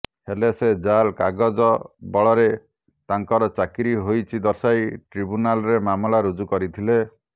ହେଲେ ସେ ଜାଲ କାଗଜବଳରେ ତାଙ୍କର ଚାକିରି ହୋଇଛି ଦର୍ଶାଇ ଟ୍ରିବ୍ୟୁନାଲରେ ମାମଲା ରୁଜୁ କରିଥିଲେ